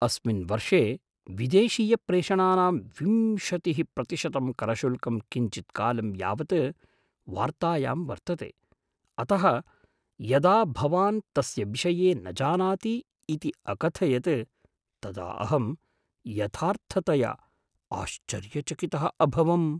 अस्मिन् वर्षे विदेशीयप्रेषणानां विंशतिः प्रतिशतं करशुल्कं किञ्चित्कालं यावत् वार्तायां वर्तते, अतः यदा भवान् तस्य विषये न जानाति इति अकथयत् तदा अहं यथार्थतया आश्चर्यचकितः अभवम्।